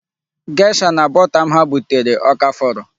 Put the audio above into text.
Gesha na bọta m ha butere ọ ka fọrọ?